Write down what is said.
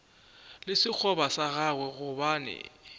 le sekgoba sa gagwe gobane